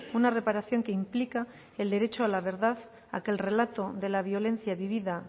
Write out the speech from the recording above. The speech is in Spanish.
una reparación que implica el derecho a la verdad a que el relato de la violencia vivida